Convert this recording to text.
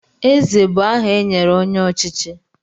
Eze bụ aha e nyere onye ọchịchị.